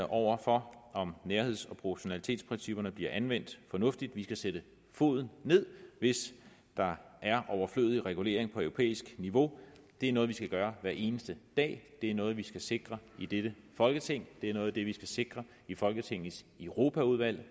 over for om nærheds og proportionalitetsprincipperne bliver anvendt fornuftigt og vi skal sætte foden ned hvis der er overflødig regulering på europæisk niveau det er noget vi skal gøre hver eneste dag det er noget vi skal sikre i dette folketing det er noget af det vi skal sikre i folketingets europaudvalg